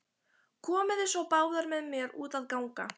Komiði svo báðar með mér út að ganga.